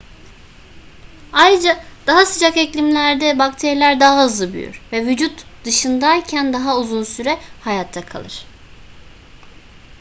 ayrıca daha sıcak iklimlerde bakteriler daha hızlı büyür ve vücut dışındayken daha uzun süre hayatta kalır